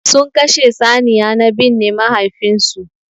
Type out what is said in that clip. Sun Kashe saniya na binne mahaifin su.